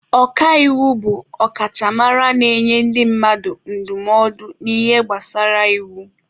Ọka iwu bụ ọkachamara na-enye ndị mmadụ ndụmọdụ n'ihe gbasara iwu.